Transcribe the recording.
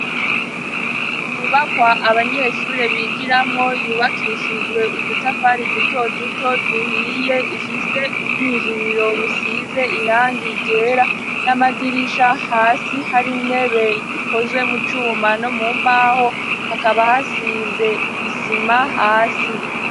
Inyubakwa abanyeshuri bigiramwo yubakishijwe udutafari duto duto duhiye ifite ubwinjiriro busize irangi ryera n'amadirisha hasi hari intebe ikozwe mu cuma no mumbaho hakaba hasize isima hasi.